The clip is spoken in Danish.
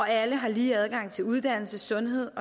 alle har lige adgang til uddannelse sundhed